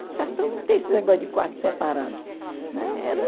No sertão não tem esse negócio de quarto separado. Né? Era